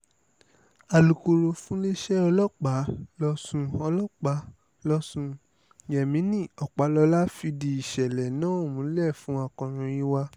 alukoro fúnléèṣẹ̀ ọlọ́pàá lọ́sùn ọlọ́pàá lọ́sùn yemini ọpàlọ́lá fìdí ìṣẹ̀lẹ̀ náà múlẹ̀fun akọ̀ròyìn wa